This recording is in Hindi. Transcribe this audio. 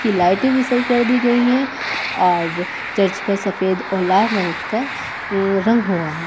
इसकी लाइटे भी सही कर दी गयी है और चर्च पर सफेद और लाल रंग का रंग हुआ है।